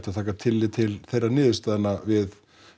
að taka tillit til þeirra niðurstaðna við